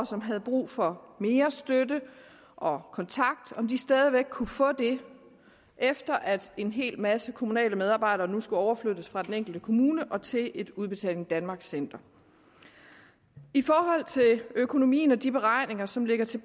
som havde brug for mere støtte og kontakt stadig væk kunne få det efter at en hel masse kommunale medarbejdere nu skulle overflyttes fra de enkelte kommuner til et udbetaling danmark center i forhold til økonomien og de beregninger som ligger til